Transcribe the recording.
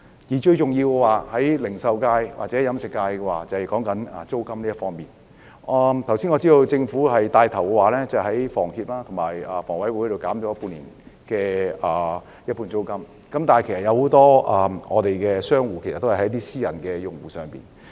對於零售界和飲食業界，最重要的是租金問題，我知道政府已牽頭向房協和香港房屋委員會的租戶提供半年租金減免，但很多商戶租用的是私人物業。